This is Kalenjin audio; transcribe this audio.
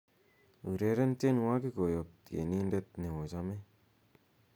ureren tienwogik koyop tienindet neochome